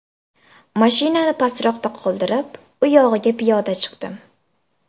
Mashinani pastroqda qoldirib, u yog‘iga piyoda chiqdim.